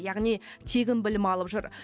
яғни тегін білім алып жүр